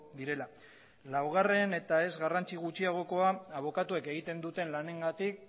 direla laugarren eta ez garrantzi gutxiagokoa abokatuek egiten duten lanengatik